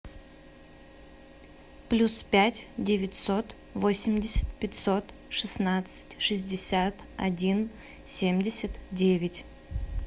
плюс пять девятьсот восемьдесят пятьсот шестнадцать шестьдесят один семьдесят девять